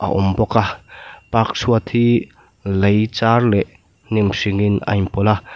a awm bawk a park chhuat hi lei char leh hnim hring in a inpawlh a.